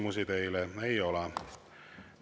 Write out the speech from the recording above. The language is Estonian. Küsimusi teile ei ole.